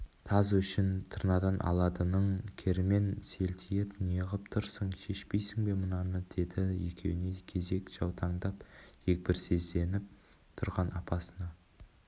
таз өшін тырнадан аладының кермен селтиіп неғып тұрсың шешпейсің бе мынаны деді екеуіне кезек жаутаңдап дегбірсізденіп тұрған апасына